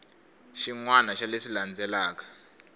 xin wana xa leswi landzelaka